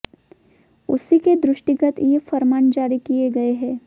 उसी के दृष्टिगत ये फरमान जारी किए गए हैं